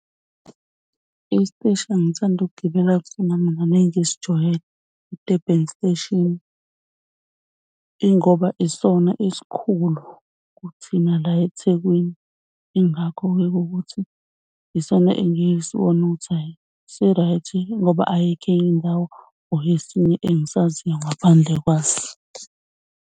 Isiteshi engithanda ukugibela kusona mina nengisijwayele i-Durban Station. Ingoba isona esikhulu kuthina la eThekwini. Yingakho-ke kukuthi yisona engiye ngisibone ukuthi hhayi si-right ngoba ayikho enye indawo or esinye engisaziyo ngaphandle kwaso.